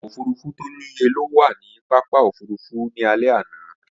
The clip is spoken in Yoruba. Ọkọ̀ òfurufú tí ò níye ló wà ní pápákọ̀ òfurufú ní alẹ́ àná